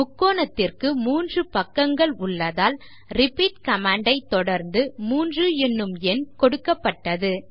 முக்கோணத்திற்கு 3 பக்கங்கள் உள்ளதால் repeat command ஐத் தொடர்ந்து 3 எனும் எண் கொடுக்கப்பட்டது